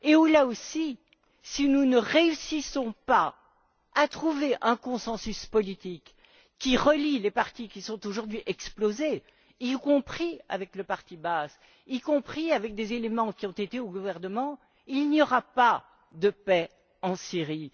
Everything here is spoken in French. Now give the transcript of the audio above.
Là encore, si nous ne parvenons pas à trouver un consensus politique qui relie les partis qui ont aujourd'hui explosé, y compris avec le parti Baas ainsi qu'avec des éléments qui ont siégé au gouvernement, il n'y aura pas de paix en Syrie.